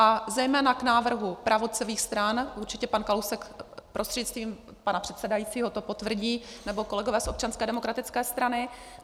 A zejména k návrhu pravicových stran - určitě pan Kalousek prostřednictvím pana předsedajícího to potvrdí, nebo kolegové z Občanské demokratické strany.